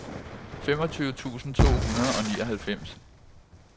femogtyve tusind to hundrede og nioghalvfems